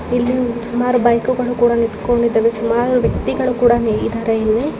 ಇಲ್ಲಿ ಸುಮಾರು ಬೈಕ್ ಗಳು ಕೂಡ ನಿಂತಕೊಂಡಿದವೆ. ಸುಮಾರು ವ್ಯಕ್ತಿಗಳು ಕೂಡಾ ಇದಾರೆ ಇಲ್ಲಿ.